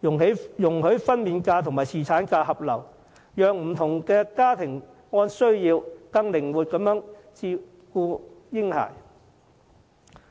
容許分娩假與侍產假合流，讓不同家庭按需要更靈活地照顧嬰孩。